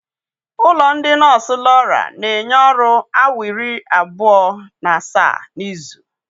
Ụlọ ndị nọọsụ Laura na-enye ọrụ awa iri abụọ na asaa n'izu.